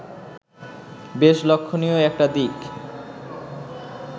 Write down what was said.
বেশ লক্ষণীয় একটি দিক